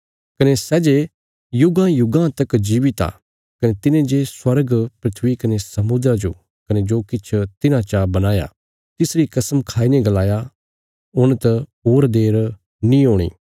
कने सै जे युगांयुगां तक जीवित आ कने तिने जे स्वर्ग धरती कने समुद्रा जो कने जो किछ तिन्हां चा बणाया तिसरी कसम खाईने गलाया हुण त होर देर नीं हूणी